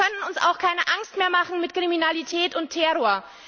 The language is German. Sie können uns auch keine Angst mehr machen mit Kriminalität und Terror.